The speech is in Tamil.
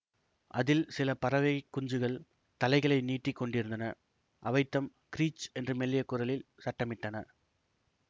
அதில் சில பறவைக் குஞ்சுகள் தலைகளை நீட்டி கொண்டிருந்தன அவைதம் கிறீச் என்று மெல்லிய குரலில் சத்தமிட்டன